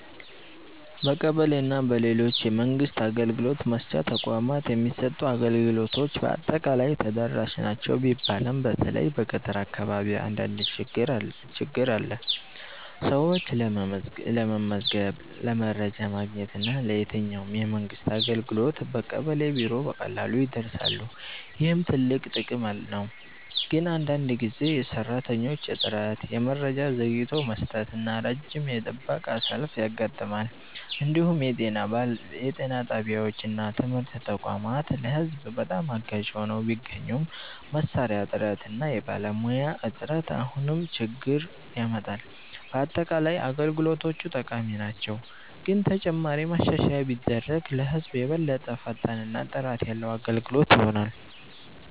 በቀበሌ እና በሌሎች የመንግስት አገልግሎት መስጫ ተቋማት የሚሰጡ አገልግሎቶች በአጠቃላይ ተደራሽ ናቸው ቢባልም በተለይ በገጠር አካባቢ አንዳንድ ችግኝ አለ። ሰዎች ለመመዝገብ፣ ለመረጃ ማግኘት እና ለየትኛውም የመንግስት አገልግሎት በቀበሌ ቢሮ በቀላሉ ይደርሳሉ፣ ይህም ትልቅ ጥቅም ነው። ግን አንዳንድ ጊዜ የሰራተኞች እጥረት፣ የመረጃ ዘግይቶ መስጠት እና ረጅም የጥበቃ ሰልፍ ያጋጥማል። እንዲሁም የጤና ጣቢያዎች እና ትምህርት ተቋማት ለህዝብ በጣም አጋዥ ሆነው ቢገኙም መሳሪያ እጥረት እና የባለሙያ እጥረት አሁንም ችግኝ ያመጣል። በአጠቃላይ አገልግሎቶቹ ጠቃሚ ናቸው፣ ግን ተጨማሪ ማሻሻያ ቢደረግ ለህዝብ የበለጠ ፈጣን እና ጥራት ያለ አገልግሎት ይሆናል።